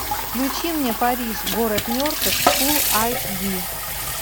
включи мне париж город мертвых фулл айч ди